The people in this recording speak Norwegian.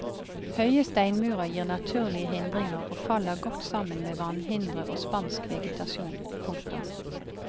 Høye steinmurer gir naturlige hindringer og faller godt sammen med vannhindre og spansk vegetasjon. punktum